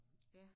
Ja